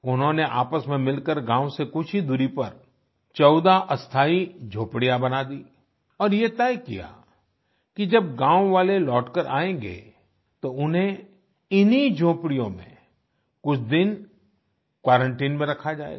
उन्होंने आपस में मिलकर गांव से कुछ ही दूरी पर 14 अस्थायी झोपड़ियाँ बना दीं और ये तय किया कि जब गांव वाले लौटकर आएंगे तो उन्हें इन्हीं झोपड़ियों में कुछ दिन क्वारंटाइन में रखा जाएगा